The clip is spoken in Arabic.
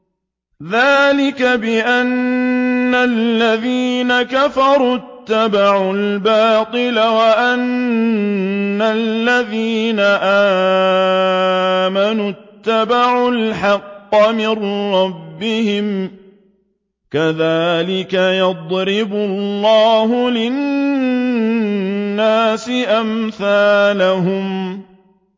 ذَٰلِكَ بِأَنَّ الَّذِينَ كَفَرُوا اتَّبَعُوا الْبَاطِلَ وَأَنَّ الَّذِينَ آمَنُوا اتَّبَعُوا الْحَقَّ مِن رَّبِّهِمْ ۚ كَذَٰلِكَ يَضْرِبُ اللَّهُ لِلنَّاسِ أَمْثَالَهُمْ